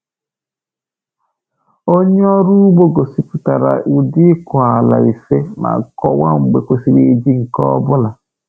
Onye ọrụ ugbo gosipụtara ụdị ịkụ ala ise ma kọwaa mgbe kwesịrị iji nke ọ bụla.